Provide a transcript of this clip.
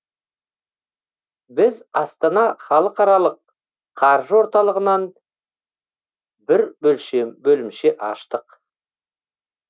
біз астана халықарылық қаржы орталығынан бір бөлімше аштық